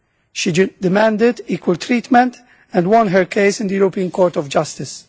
She demanded equal treatment and won her case in the European Court of Justice.